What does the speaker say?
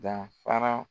Danfara